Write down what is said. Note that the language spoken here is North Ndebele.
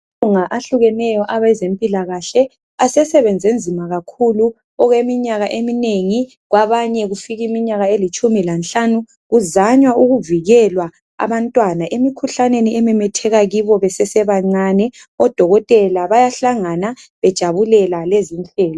Amalunga ahlukeneyo aweze mpilakahle asesebenze nzima kakhulu okweminyaka eminengi kwabanye kufika imnyaka elitshumi lanhlanu. Kuzanywa ukuvikelwa abantwana emkhuhlaneni ememetheka kibo besese bancane, odokotela bayahlangana bejabulela lezi inhlelo.